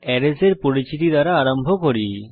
arrays এর পরিচিতি দ্বারা আরম্ভ করি